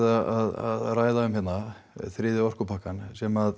að ræða um hérna þriðja orkupakkann sem